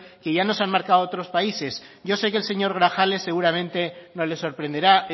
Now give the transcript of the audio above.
que ya nos han marcado otros países yo sé que el señor grajales seguramente no le sorprenderá